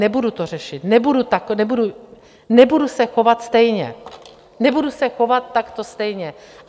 Nebudu to řešit, nebudu se chovat stejně, nebudu se chovat takto stejně.